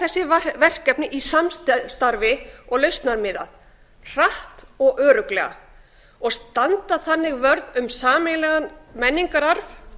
þessi verkefni í samstarfi og lausnamiðað hratt og örugglega og standa þannig vörð um sameiginlegan menningararf